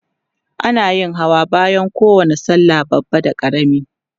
ana yin Hawa bayan kowani sallah da babba da karami